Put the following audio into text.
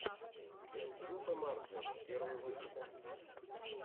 сьюпе марджин первый выпуск